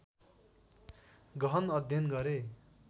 गहन अध्ययन गरे